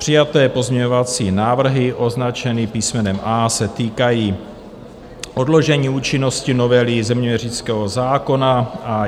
Přijaté pozměňovací návrhy označené písmenem A se týkají odložení účinnosti novely zeměměřického zákona.